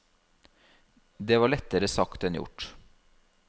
Det var lettere sagt enn gjort.